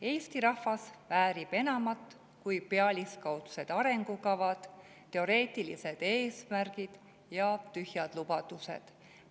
Eesti rahvas väärib enamat kui pealiskaudsed arengukavad, teoreetilised eesmärgid ja tühjad lubadused.